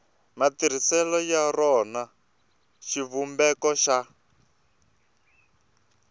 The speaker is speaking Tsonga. matirhiselo ya rona xivumbeko xa